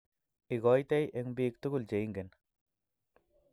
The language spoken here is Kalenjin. Igoitei eng biik tugul cheingen